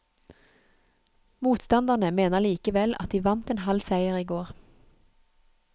Motstanderne mener likevel at de vant en halv seier i går.